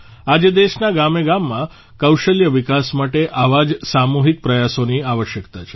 આજે દેશના ગામે ગામમાં કૌશલ્ય વિકાસ માટે આવા જ સામૂહિક પ્રયાસોની આવશ્યકતા છે